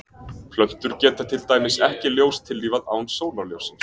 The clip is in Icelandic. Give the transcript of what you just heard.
Plöntur geta til dæmis ekki ljóstillífað án sólarljóssins.